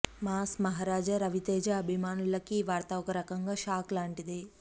mass Maharaja Raviteja అభిమానులకు ఈ వార్త ఒకరకంగా షాక్ లాంటిదే